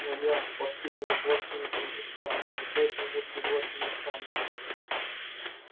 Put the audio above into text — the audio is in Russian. но я последнее воплощение чингисхана и поэтому можете звать меня хан